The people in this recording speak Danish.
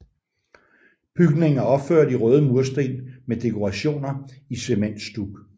Bygningen er opført i røde mursten med dekorationer i cementstuk